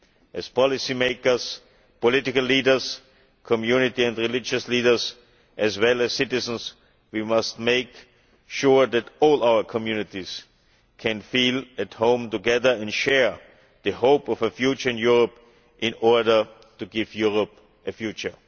As policymakers, political leaders, community and religious leaders, as well as citizens, we must make sure that all our communities can feel at home together and share the hope of a future in Europe, in order to give Europe a future.